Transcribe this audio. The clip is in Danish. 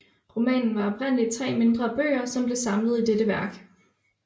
Romanen var oprindeligt 3 mindre bøger som blev samlet i dette værk